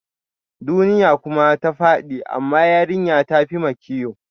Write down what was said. Duniya kuma ta fadi, amma yarinya ta fi makiyo